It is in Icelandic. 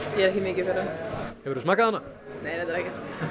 ég er ekki mikið fyrir hana hefurðu smakkað hana nei reyndar ekki